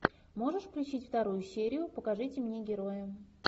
можешь включить вторую серию покажите мне героя